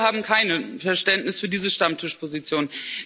Wir haben kein Verständnis für diese Stammtischposition.